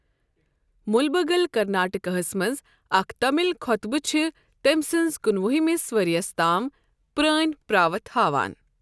مُلبَگل كرناٹكہٕ ہس منز اكھ تامِل خۄطبہٕ چھ تٔمۍ سٕنز کُنہٕ وُہ ہِمس ورۍیس تام پرٛٲنۍ پراوتھ ہاوان۔